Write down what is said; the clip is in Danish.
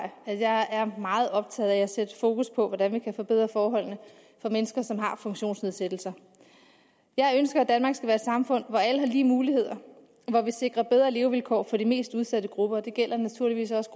at jeg er meget optaget af at sætte fokus på hvordan vi kan forbedre forholdene for mennesker som har en funktionsnedsættelse jeg ønsker at danmark skal være et samfund hvor alle har lige muligheder og hvor vi sikrer bedre levevilkår for de mest udsatte grupper og det gælder naturligvis også